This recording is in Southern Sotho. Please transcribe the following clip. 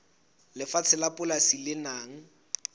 lefatshe la polasi le nang